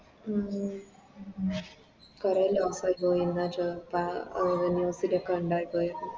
ഉം കൊറേ പോയിന്ന ചോ പ News ലോക്കെ ഒണ്ടായിപോയത്